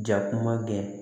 Jakuma gɛɛn